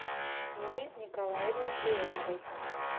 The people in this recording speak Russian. нине николаевне леоновой